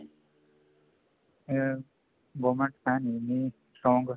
ਅਮ government ਹੈ ਨੀ ਇੰਨੀ strong